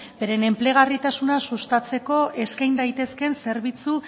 beren enplegarritasuna sustatzeko eskain daitezkeen zerbitzu